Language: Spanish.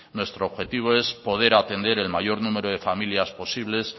nuestro objetivo es poder atender el mayor número de familias posibles